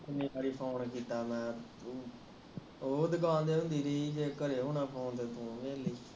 ਕਿੰਨੇ ਵਾਰੀ ਫੋਨ ਕਿਤਾ ਉਹ ਦੁਕਾਨ ਤੇ ਦੀਦੀ ਜੀ ਜੇ ਘਰੇ ਹੋਣਾ ਫੋਨ ਉਹਦੇ ਲਈ